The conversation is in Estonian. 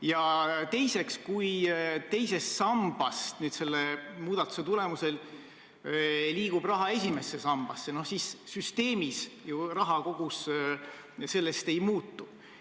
Ja teiseks, kui teisest sambast selle muudatuse tulemusel liigub raha esimesse sambasse, siis süsteemis ju raha kogus sellest ei muutu.